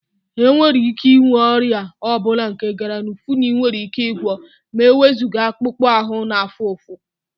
Enwere ike inwe ọrịa ọ bụla nke garafuni nwere ike gwọọ ma ewezuga akpụkpọ ahụ na-afụ ụfụ